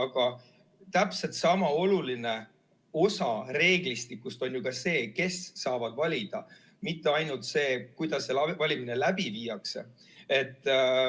Ja täpselt sama oluline osa reeglistikust on ju ka see, kes saavad valida, mitte ainult see, kuidas valimised läbi viiakse.